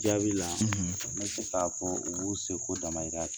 Jaabila n bɛ se k'a fɔ u' b'u se ko damayira la